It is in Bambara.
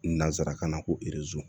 Nanzarakan na ko